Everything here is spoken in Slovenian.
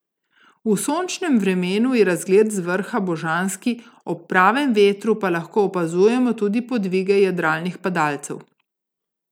V sončnem vremenu je razgled z vrha božanski, ob pravem vetru pa lahko opazujemo tudi podvige jadralnih padalcev.